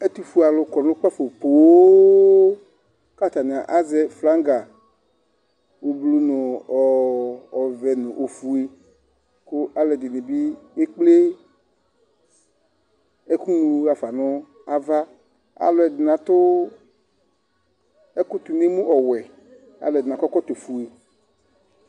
Ɛtufue alu kɔ nu kpafo poo katani azɛ flaga ublu nu ɔvɛ nu ofue ku aluɛdini bi ekple ɛku ɣafa nu ava aluɛdini atu ɛku tu nu emu ɔwɛ aluɛdini akɔ ɛkɔtɔ fue